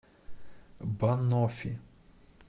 баноффи